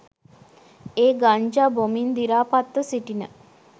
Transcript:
ඒ ගංජා බොමින් දිරාපත්ව සිටින